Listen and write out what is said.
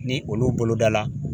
Ni olu bolodala